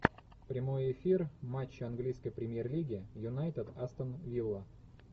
прямой эфир матча английской премьер лиги юнайтед астон вилла